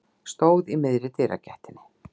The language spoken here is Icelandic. Stóð í miðri dyragættinni.